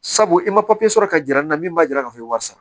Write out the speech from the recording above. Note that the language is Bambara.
Sabu i ma papiye sɔrɔ ka jira n'a min b'a jira k'a fɔ i bɛ sara